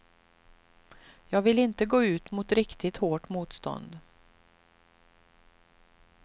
Jag vill inte gå ut mot riktigt hårt motstånd.